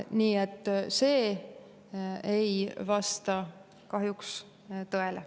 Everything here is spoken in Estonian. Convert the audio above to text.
Nii et see ei vasta kahjuks tõele.